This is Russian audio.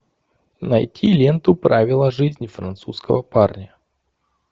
найти ленту правила жизни французского парня